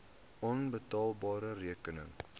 onbetaalde rekeninge